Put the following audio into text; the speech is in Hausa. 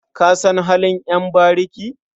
Ka san halin ƴan bariki?